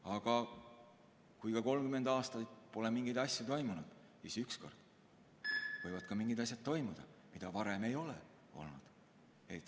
Aga kui 30 aastat pole mingeid asju toimunud, siis ükskord võivad toimuda mingid asjad, mida varem ei ole olnud.